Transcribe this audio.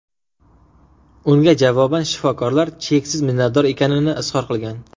Unga javoban shifokorlar cheksiz minnatdor ekanini izhor qilgan.